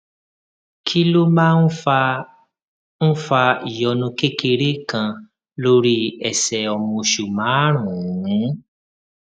kí ló máa ń fa ń fa ìyọnu kékeré kan lórí ẹsè ọmọ oṣù márùnún